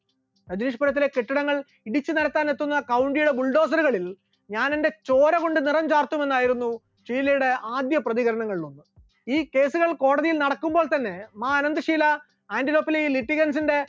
രജനീഷ് പുരത്തിലെ കെട്ടിടങ്ങൾ ഇടിച്ചു തകർക്കാൻ എത്തുന്ന കൗങ്ങിക ബുൾഡോസറുകളിൽ ഞാൻ എന്റെ ചോരകൊണ്ട് നിറം ചാർത്തുമെന്നായിരുന്നു ഷീലയുടെ ആദ്യ പ്രതികരണങ്ങളിൽ ഒന്ന്, ഈ case കൾ കോടതിയിൽ നടക്കുമ്പോൾ തന്നെ മാ അനന്തഷീല ആന്റിലോക്കിലെ ലിറ്റികൾസിന്റെ